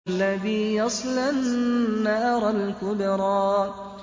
الَّذِي يَصْلَى النَّارَ الْكُبْرَىٰ